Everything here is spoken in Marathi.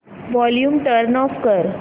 वॉल्यूम टर्न ऑफ कर